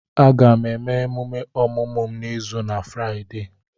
Aga m eme emume ọmụmụ m n'izu na Fraịdee.